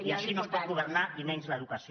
i així no es pot governar i menys l’educació